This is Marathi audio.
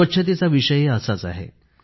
स्वच्छतेचा विषयही असाच आहे